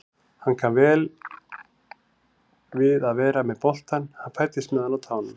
Hann kann vel við að vera með boltann, hann fæddist með hann á tánum.